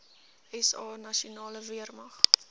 sa nasionale weermag